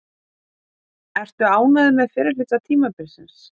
Ertu ánægður með fyrri hluta tímabilsins?